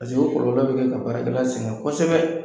Paseke o kɔlɔlɔ bɛ kɛ ka baarakɛla sɛgɛn kosɛbɛ.